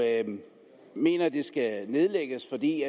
mener at det skal nedlægges fordi